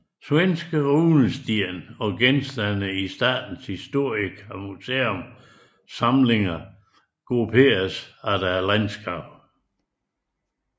Svenske runesten og genstande i Statens historiska museums samlinger grupperes efter landskab